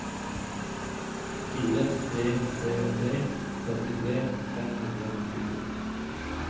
fire tre tre tre trettitre fem hundre og nittito